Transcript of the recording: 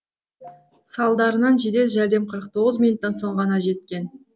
салдарынан жедел жәрдем қырық тоғыз минуттан соң ғана жеткен